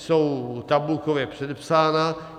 Jsou tabulkově předepsána.